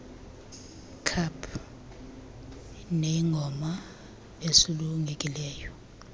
kaap neyingoma esulungekileyo